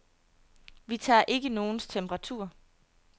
Vi tager ikke nogens temperatur.